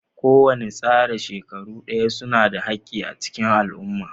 Kowane tsara shekaru Daya suna da haki a cikin al'umma.